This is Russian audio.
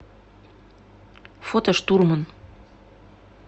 фото штурман